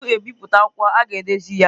Tupu ebipụta akwụkwọ, a ga-edezi ya.